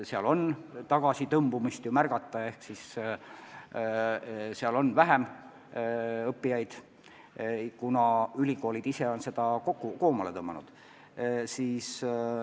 Seal on tagasitõmbumist märgata, seal on vähem õppijaid, kuna ülikoolid ise on seda tegevust koomale tõmmanud.